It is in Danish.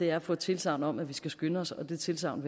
er at få et tilsagn om at vi skal skynde os og det tilsagn